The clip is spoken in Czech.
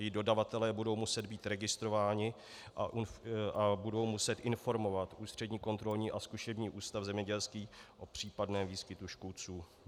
Jejich dodavatelé budou muset být registrování a budou muset informovat Ústřední kontrolní a zkušební ústav zemědělský o případném výskytu škůdců.